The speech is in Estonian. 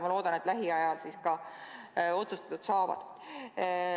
Ma loodan, et lähiajal need ka otsustatud saavad.